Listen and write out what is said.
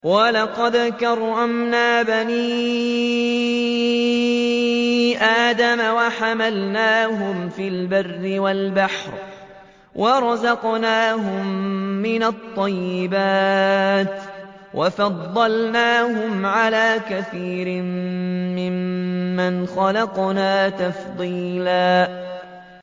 ۞ وَلَقَدْ كَرَّمْنَا بَنِي آدَمَ وَحَمَلْنَاهُمْ فِي الْبَرِّ وَالْبَحْرِ وَرَزَقْنَاهُم مِّنَ الطَّيِّبَاتِ وَفَضَّلْنَاهُمْ عَلَىٰ كَثِيرٍ مِّمَّنْ خَلَقْنَا تَفْضِيلًا